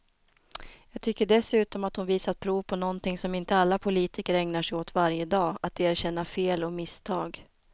Jag tycker dessutom att hon visat prov på någonting som inte alla politiker ägnar sig åt varje dag, att erkänna fel och misstag.